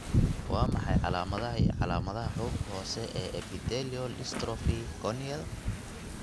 Waa maxay calaamadaha iyo calaamadaha xuubka hoose ee epithelial dystrophy corneal?